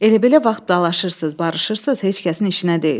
Elə-belə vaxt dalaşırsız, barışırsız, heç kəsin işinə deyil.